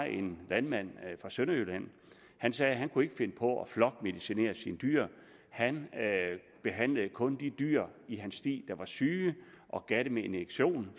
en landmand fra sønderjylland der sagde at han ikke kunne finde på at flokmedicinere sine dyr han behandlede kun de dyr i stien der var syge og gav dem en injektion